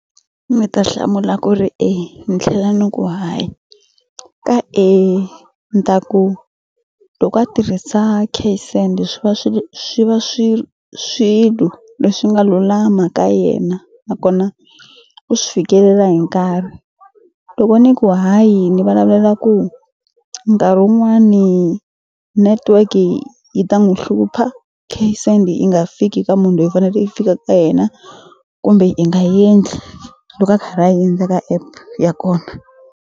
Mi ta hlamula ku ri e ni tlhela ni ku hayi ka e ni ta ku loko a tirhisa cash send swi va swi va swilo leswi nga lulama ka yena nakona u swi fikelela hi nkarhi loko ni ku hayi ni vulavula ku nkarhi wun'wani netiweki yi ta n'wu hlupha cash send yi nga fiki ka munhu loyi faneke yi fika ka yena kumbe i nga endli loko a karhi a endla ka app ya kona.